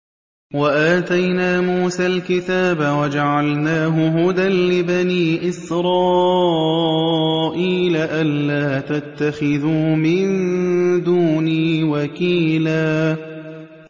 وَآتَيْنَا مُوسَى الْكِتَابَ وَجَعَلْنَاهُ هُدًى لِّبَنِي إِسْرَائِيلَ أَلَّا تَتَّخِذُوا مِن دُونِي وَكِيلًا